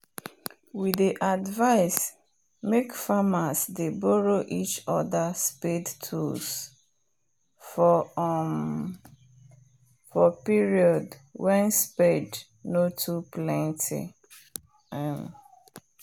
we dey advice make farmers dey borrow each other spade tools for um period wen spade nor too plenty um